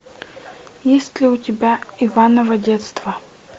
есть ли у тебя иваново детство